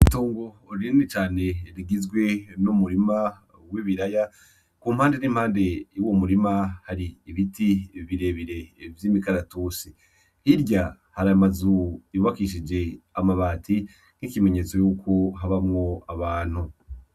Itongo rinini cane rigizwe n'umurima w'ibirya kumpande n'impande hari ibiti birebire vy'imikaratusi ,hirya har'amazu yubakishije amabati Ico n'ikimenyesto ko habamwo abantu.